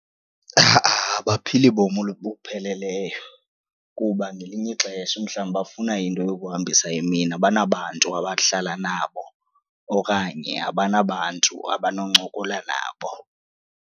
Ha-a abaphili bomi obupheleleyo kuba ngelinye ixesha umhlawumbi bafuna into yokuhambisa imini abanabantu abahlala nabo okanye abanabantu abanoncokola nabo.